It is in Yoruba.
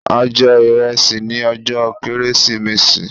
A jẹ ìrẹsì ní ọjọ́ kérésìmesì